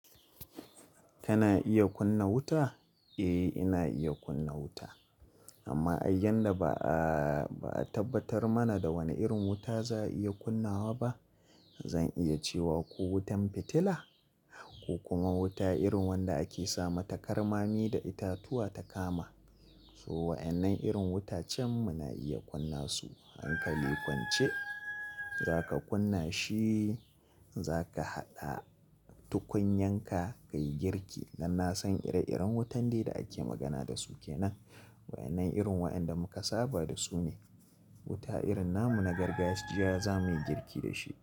Kana iya kunna wuta? Eh, ina iya kunna wuta, amma ai yan da ba'a tabbatar mana da wani irin wuta za'a iya kunnawa ba. Zan iya cewa ko wutan fitila, ko kuma wuta irin wanda ake sama ta karmami da itatuwa ta kama. So wa'yannan irin wuta can muna iya kunna su. Hankali kwance, za ka kunna shi, za ka haɗa tukunyan ka ka yi girki. Dan na san ire-iren wutan dai da ake magana dasu kenan. Wa'yannan irin wa'inda muka saba da su ne. Wuta irin namu na gargajiya zamuyi girki da shi.